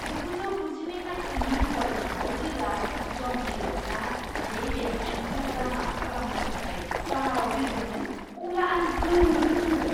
जिगुजौ गुजिनै मायथाइनि वार्ल्ड कापआव जेब्ला ज'न्टी र'ड्सआ बे बेटसमेनखौ रान आउट खालामनो थाखाय बाराव बिरदोंमोन, अब्ला आं गोमोदोंमोन!